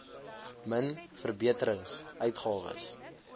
min verbeterings uitgawes